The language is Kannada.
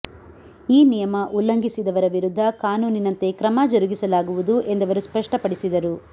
ಈ ನಿಮಯ ಉಲ್ಲಂಘಿಸಿದವರ ವಿರುದ್ಧ ಕಾನೂನಿನಂತೆ ಕ್ರಮ ಜರುಗಿಸಲಾಗುವುದು ಎಂದವರು ಸ್ಪಷ್ಟಪಡಿಸಿದರು